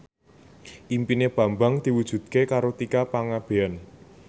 impine Bambang diwujudke karo Tika Pangabean